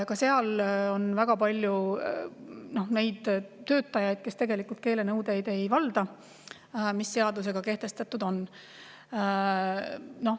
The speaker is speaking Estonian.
Ka seal on väga palju töötajaid, kes tegelikult ei keelenõudeid, mis seadusega kehtestatud on.